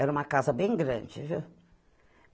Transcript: Era uma casa bem grande, viu?